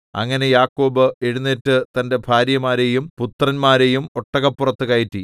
അങ്ങനെ യാക്കോബ് എഴുന്നേറ്റ് തന്റെ ഭാര്യമാരെയും പുത്രന്മാരെയും ഒട്ടകപ്പുറത്തു കയറ്റി